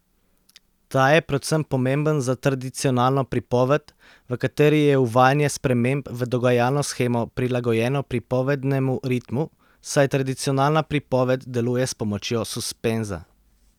Ta je predvsem pomemben za tradicionalno pripoved, v kateri je uvajanje sprememb v dogajalno shemo prilagojeno pripovednemu ritmu, saj tradicionalna pripoved deluje s pomočjo suspenza.